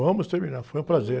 Vamos terminar, foi um prazer.